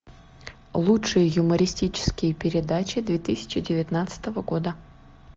лучшие юмористические передачи две тысячи девятнадцатого года